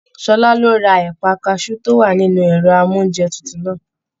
Ṣọlá ló rà ẹpa kasú to wà nínú ẹrọ amounjẹ tútù náà.